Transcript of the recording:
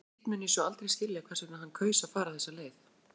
Hitt mun ég svo aldrei skilja hvers vegna hann kaus að fara þessa leið.